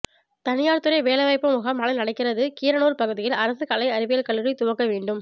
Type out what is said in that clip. தனியார் துறை வேலைவாய்ப்பு முகாம் நாளை நடக்கிறது கீரனூர் பகுதியில் அரசு கலை அறிவியல் கல்லூரி துவங்க வேண்டும்